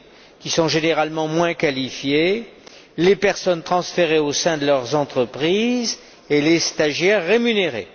qui sont généralement moins qualifiés, les personnes transférées au sein de leur entreprise et les stagiaires rémunérés.